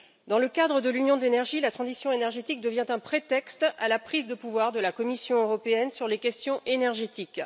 Dans le cadre de l'union de l'énergie, la transition énergétique devient un prétexte à la prise de pouvoir de la Commission européenne sur les questions énergétiques.